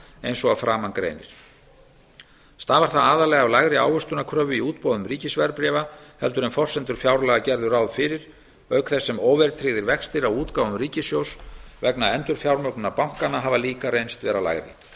eins og að framan greinir stafar það aðallega af lægri ávöxtunarkröfu í útboðum ríkisverðbréfa en forsendur fjárlaga gerðu ráð fyrir auk þess sem óverðtryggðir vextir á útgáfum ríkissjóðs vegna endurfjármögnunar bankanna hafa líka reynst lægri